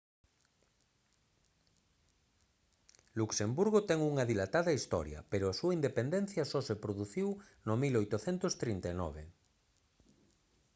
luxemburgo ten unha dilatada historia pero a súa independencia só se produciu no 1839